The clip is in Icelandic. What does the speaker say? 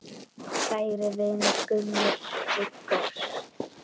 Kæri vinur, Gummi Viggós.